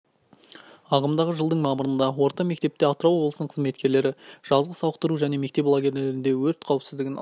ағымдағы жылдың мамырында орта мектепте атырау облысының қызметкерлері жазғы сауықтыру және мектеп лагерлерінде өрт қауіпсіздігін алдын